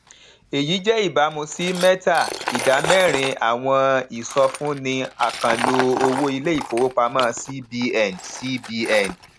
èyí jẹ ìbámu sí mẹta idà mérin àwọn ìsọfúnni àkànlò owó iléifowopamọ cbn